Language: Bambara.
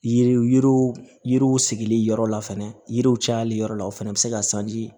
Yiriw yiriw yiriw sigili yɔrɔ la fɛnɛ yiriw cayali yɔrɔ la o fɛnɛ bɛ se ka